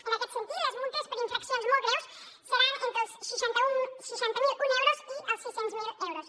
en aquest sentit les multes per infraccions molt greus seran entre els seixanta miler un euros i els sis cents miler euros